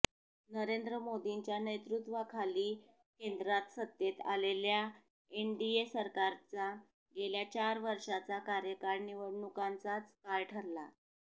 नरेंद्र मोदींच्या नेतृत्वाखाली केंद्रात सत्तेत आलेल्या एनडीए सरकारचा गेल्या चार वर्षांचा कार्यकाळ निवडणुकांचाच काळ ठरला